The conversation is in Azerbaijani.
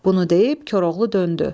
Bunu deyib Koroğlu döndü.